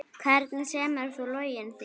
Hvernig semur þú lögin þín?